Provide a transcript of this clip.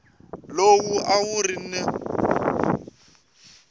lowu a wu ri na